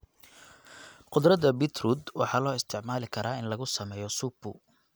Khudradda beetroot waxaa loo isticmaali karaa in lagu sameeyo supu.